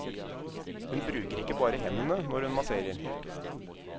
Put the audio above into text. Hun bruker ikke bare hendene når hun masserer.